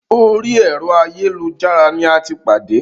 Orí ẹ̀rọ ayélujára ní a tí pàdé.